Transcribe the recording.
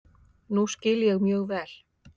Það skil ég mjög vel.